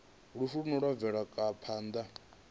lufu lune lwa bvelela kha